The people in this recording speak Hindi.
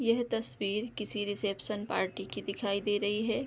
यह तस्वीर किसी रिसेप्शन पार्टी की दिखाई दे रही है।